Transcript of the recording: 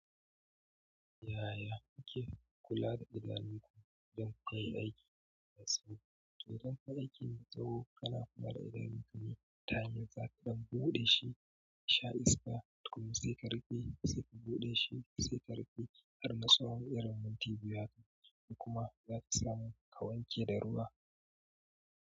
Yaya kuke kula da idanunku don kayi aiki da tsawo? Idan ka yi aiki da tsawo, kana kuma da idanunka mutane zaka dinga buɗe shi yasha iska tukun sai ka rufe, sai ka buɗe shi, sai ka rufe har na tsawan irin minti biyu haka. Kuma za ki samu ka wanke da ruwa.